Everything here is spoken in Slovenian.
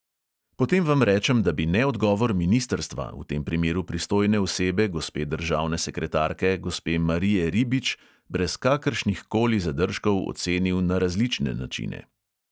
Potem vam rečem, da bi neodgovor ministrstva, v tem primeru pristojne osebe gospe državne sekretarke gospe marije ribič, brez kakršnihkoli zadržkov ocenil na različne načine.